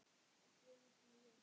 Ekki einu sinni ég!